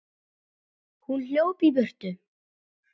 Hún hljóp í burtu.